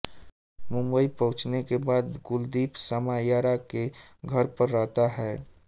मुंबई पहुंचने के बाद कुलदीप समायरा के घर पर रहता है